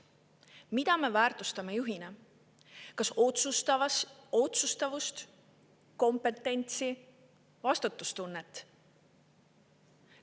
Mida me väärtustame juhi juures: kas otsustavust, kompetentsi, vastutustunnet?